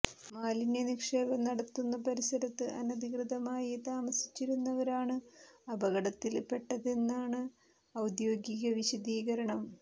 മാലിന്യ നിക്ഷേപം നടത്തുന്ന പരിസരത്ത് അനധികൃതമായി താമസിച്ചിരുന്നവരാണ് അപകടത്തില് പെട്ടതെന്നാണ് ഔദ്യോഗിക വിശദീകരണം